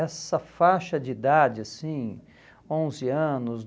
Essa faixa de idade, assim, onze anos